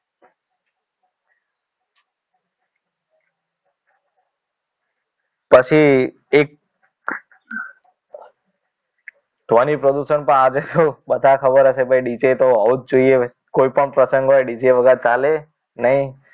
પછી એક ધ્વનિ પ્રદૂષણ પણ આજે તો બધાને ખબર હશે કે ભાઈ DJ તો હોવું જ જોઈએ કોઈપણ પ્રસંગ હોય DJ વગર ચાલે નહીં